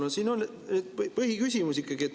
No siin on ikkagi see põhiküsimus.